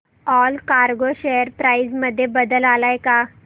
Allcargo share price मध्ये बदल आलाय का